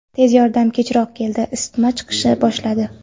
Tez yordam kechroq keldi, isitma chiqishni boshladi.